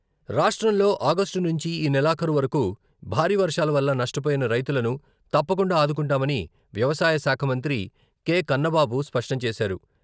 రాష్ట్రంలో ఆగస్టు నుంచి ఈ నెలాఖరు వరకు భారీ వర్షాల వల్ల నష్టపోయిన రైతులను తప్పకుండా ఆదుకుంటామని వ్యవసాయశాఖ మంత్రి కె.కన్నబాబు స్పష్టంచేశారు.